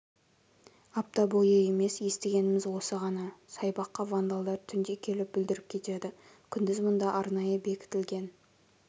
апта бойы емес естігеніміз осы ғана саябаққа вандалдар түнде келіп бүлдіріп кетеді күндіз мұнда арнайы бекітілген